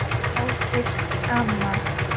Ófrísk, amma!